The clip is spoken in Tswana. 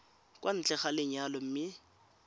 kwa ntle ga lenyalo mme